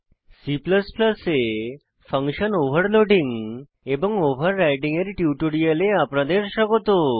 C এ function overloading এবং overriding এর টিউটোরিয়ালে আপনাদের স্বাগত